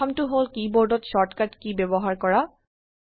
প্ৰথমটো হল কীবোৰ্ডত শৰ্টকাট কী ব্যবহাৰ কৰা